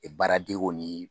Ɛ baaradege ni